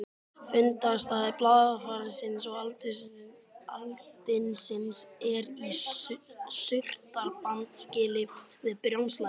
Fundarstaður blaðfarsins og aldinsins er í Surtarbrandsgili við Brjánslæk.